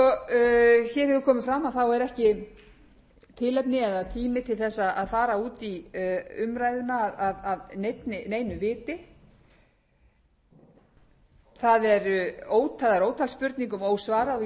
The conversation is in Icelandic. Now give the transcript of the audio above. hefur komið fram er ekki tilefni eða tími til þess að fara út í umræðuna af neinu viti það er ótal spurningum ósvarað og ég leyfi